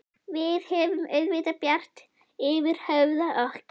Við höfum auðvitað bjart yfir höfði okkar.